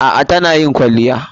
A'a tana yin kwalliya.